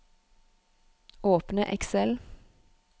Åpne Excel